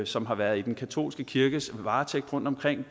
som har været i den katolske kirkes varetægt rundtomkring og